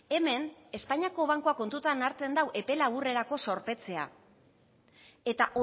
hemen espainiako bankuak kontuan hartzen du epe laburrerako zorpetzea eta